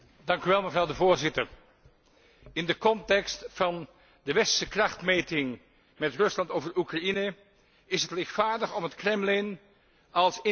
In de context van de westerse krachtmeting met Rusland over Oekraïne is het lichtvaardig om het Kremlin als internationaal geïsoleerd voor te stellen.